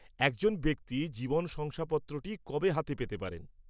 একজন ব্যক্তি জীবন শংসাপত্রটি কবে হাতে পেতে পারেন?